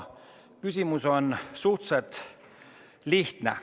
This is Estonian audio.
Küsimus on suhteliselt lihtne.